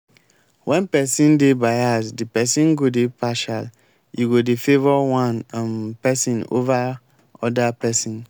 when person dey bias di person go dey partial e go dey favour one um person over oda person